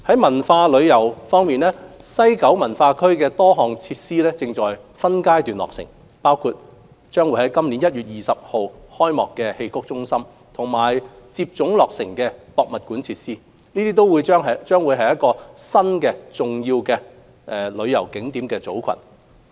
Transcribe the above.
文化旅遊方面，西九文化區內多項設施正分階段落成，包括將於今年1月20日開幕的戲曲中心和接踵落成的博物館設施，將會是新一個重要旅遊景點組群。